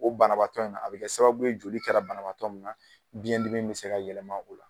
O banabaatɔ in na a bɛ kɛ sababu ye joli kɛra banabaatɔ min na biyɛn dimi bɛ se ka yɛlɛma o la.